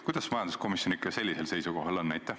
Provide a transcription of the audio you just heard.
Kuidas majanduskomisjon ikka sellisel seisukohal on?